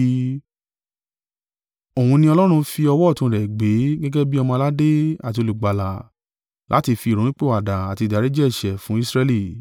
Òun ni Ọlọ́run fi ọwọ́ ọ̀tún rẹ̀ gbé gẹ́gẹ́ bí Ọmọ-aládé àti Olùgbàlà láti fi ìrònúpìwàdà àti ìdáríjì ẹ̀ṣẹ̀ fún Israẹli.